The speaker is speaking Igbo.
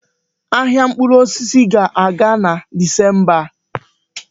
Ahịa mkpụrụ osisi ga-aga na Disemba a.